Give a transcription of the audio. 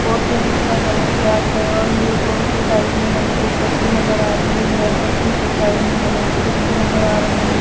Board के नीचे का कलर ब्लैक है और ये बोर्ड के साइड में एक पटरी नजर आ रही है पटरी के साइड में हमें कुछ घर नजर आ रहे हैं।